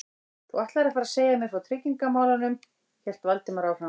Þú ætlaðir að fara að segja mér frá tryggingamálunum- hélt Valdimar áfram.